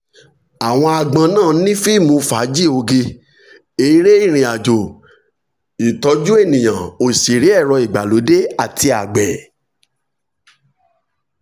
àwọn agbon náà ni fíìmù fàájì oge eré ìrìn àjò ìtọ́jú ènìyàn òsèré ẹ̀rọ ìgbàlódé àti àgbẹ̀.